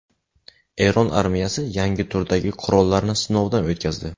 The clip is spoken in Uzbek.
Eron armiyasi yangi turdagi qurollarni sinovdan o‘tkazdi.